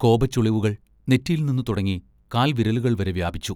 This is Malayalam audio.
കോപച്ചുളിവുകൾ നെറ്റിയിൽനിന്നു തുടങ്ങി കാൽവിരലുകൾവരെ വ്യാപിച്ചു.